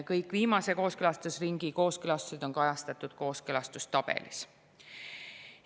Kõik viimase kooskõlastusringi kooskõlastused on kajastatud kooskõlastustabelis.